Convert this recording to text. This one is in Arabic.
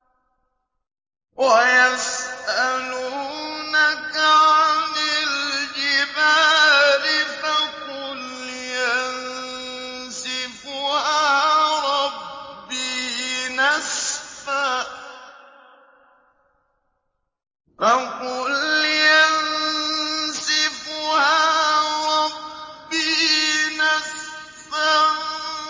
وَيَسْأَلُونَكَ عَنِ الْجِبَالِ فَقُلْ يَنسِفُهَا رَبِّي نَسْفًا